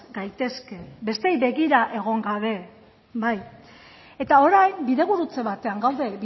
gaitezke besteei begira egon gabe orain